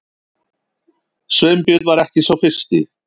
Sveinbjörn var ekki sá fyrsti.